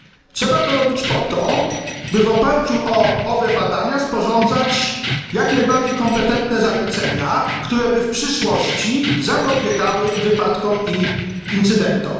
Trzeba to robić po to, by w oparciu o owe badania sporządzać jak najbardziej kompetentne zalecenia, które by w przyszłości zapobiegały wypadkom i incydentom.